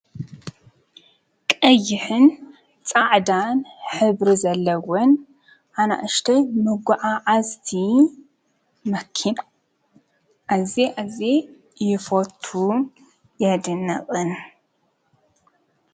ቀይሕን ፃዕዳን ሕብሪ ዘለዎን ኣናእሽተይ መጓዓዓዝቲ መኪና ኣዝየ ኣዝየ ይፈቱን የድንቕን።